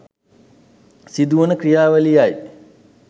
සිදුවන ක්‍රියාවලියයි